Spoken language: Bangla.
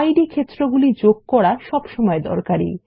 ইদ ক্ষেত্র যোগ করা সবসময় দরকারী